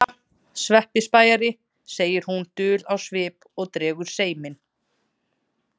Jæja, Svenni spæjari, segir hún dul á svip og dregur seiminn.